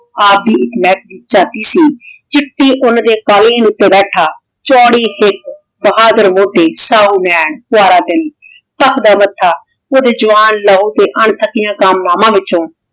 ਆਪ ਦੀ ਏਇਕ ਲੇਹ੍ਕਦੀ ਚਾਬੀ ਸੀ ਚਿੱਟੀ ਊਂ ਦੇ ਕਲੀਨ ਊਟੀ ਬੈਠਾ ਚੋੜੀ ਹਿਕ ਬਹਾਦੁਰ ਹੋਤੀ ਸਾਹੁ ਨੈਣ ਪਯਾਰ ਦਿਲ ਚਾਕਦਾ ਮਾਥਾ ਕੁਜ ਜਵਾਨ ਲਾਹੋ ਤੇ ਅਨ੍ਥਾਕਿਯਾਂ ਕਾਮਨਾਵਾਂ ਵਿਚੋਂ